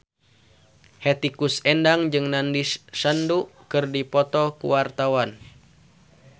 Hetty Koes Endang jeung Nandish Sandhu keur dipoto ku wartawan